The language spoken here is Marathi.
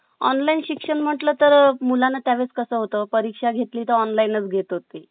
online शिक्षण म्हटलं तर अ मुलांना त्या वेळेस कसं होतं परीक्षा घेतली तर online घेत होते